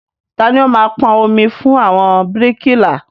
Tani ó máa pọn omi fún àwọn bíríkìlà?